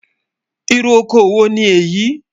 Ìrù ọkọ wo ni éyi?